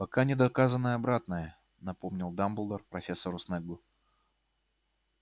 пока не доказано обратное напомнил дамблдор профессору снеггу